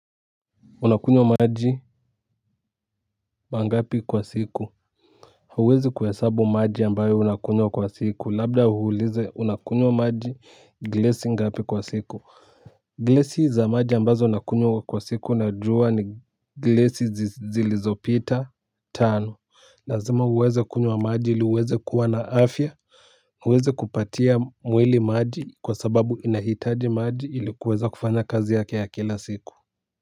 Unakunywa maji mangapi kwa siku huwezi kuyahesabu maji ambayo unakunywa kwa siku, labda uulize unakunywa maji glasi ngapi kwa siku? Glasi za maji ambazo nakunywa kwa siku naujua ni glasi zilizopita tano lazima uweze kunywa maji ili uweze kuwa na afya uweze kupatia mwili maji kwa sababu inahitaji maji ili kuweza kufanya kazi yake ya kila siku.